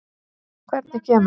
Hvernig kemur